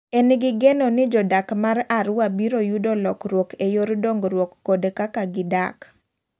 En gi geno ni jodak mar Arua biro yudo lokruok e yor dongruoo kod kaka gi dak.